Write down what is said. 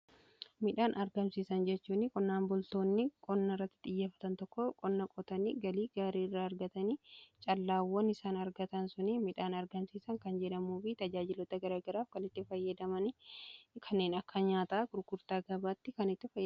Midhaan argamsiisan jechuunni qonnaan bultoonni qonna irratti xiyyeeffatan tokko qonna qotanii galii gaarii irraa argatanii callaawwan isaan argatan sunii midhaan argamsiisa kan jedhamuufi tajaajilota garagaraaf kanitti fayyadaman kaneen akka nyaataa kurkurtaa gabaatti kan itti fayyadaman.